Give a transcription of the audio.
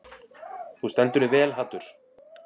Þú stendur þig vel, Haddur!